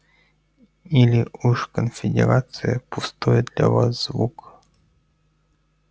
или уж конфедерация пустой для вас звук